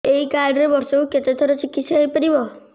ଏଇ କାର୍ଡ ରେ ବର୍ଷକୁ କେତେ ଥର ଚିକିତ୍ସା ହେଇପାରିବ